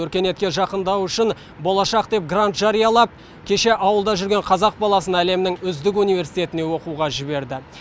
өркениетке жақындау үшін болашақ деп грант жариялап кеше ауылда жүрген қазақ баласын әлемнің үздік университетіне оқуға жіберді